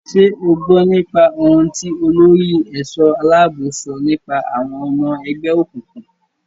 Ṣé o gbọ́n nípa ohun tí olórí ẹ̀ṣọ́-aláàbò sọ nípa àwọn ọmọ ẹgbẹ́ òkùnkùn.